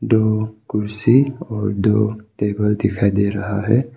दो कुर्सी और दो टेबल दिखाई दे रहा है।